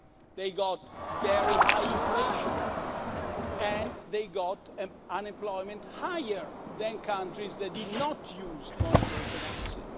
bad. They got very high inflation and they got unemployment higher than countries that did not use monetary financing.